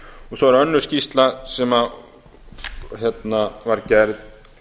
svo er önnur skýrsla sem var gerð